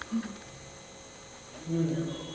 हम्म मी विचारतो